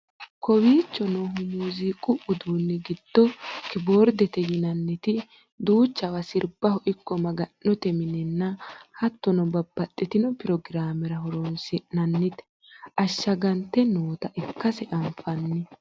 kowiicho noohu muziiqu uduunni giddo kiboordete yinaniti duuchawa sirbaho ikko maga'note minenna hattono babbaxxitino pirogiraamera horonsi'nannite ashshagante noota ikkase anfanni